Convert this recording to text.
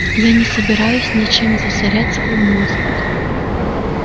я не собираюсь ничем засорять свой мозг